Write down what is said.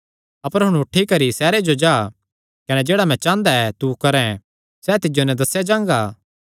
अपर हुण उठी करी सैहरे जो जा कने जेह्ड़ा मैं चांह़दा ऐ तू करैं सैह़ तिज्जो नैं दस्सेया जांगा